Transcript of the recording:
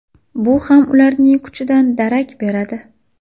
Bu ham ularning kuchidan darak beradi.